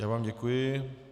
Já vám děkuji.